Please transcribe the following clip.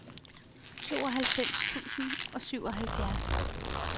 tooghalvfems tusind og syvoghalvfjerds